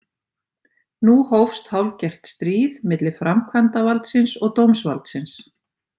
Nú hófst hálfgert stríð milli framkvæmdavaldsins og dómsvaldsins.